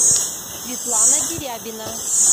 светлана дерябина